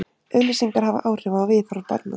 Auglýsingar hafa áhrif á viðhorf barna.